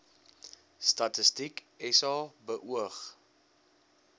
statistiek sa beoog